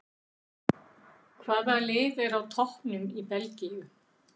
Hvaða lið er á toppnum í Belgíu?